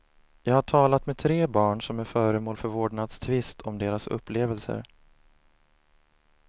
Jag har talat med tre barn som är föremål för vårdnadstvist om deras upplevelser.